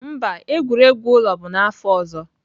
Mba, egwuregwu ụlọ bụ n'afọ ọzọ.